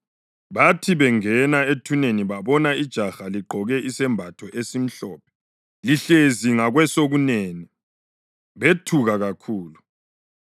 Bathi bengena ethuneni babona ijaha ligqoke isembatho esimhlophe lihlezi ngakwesokunene, bethuka kakhulu.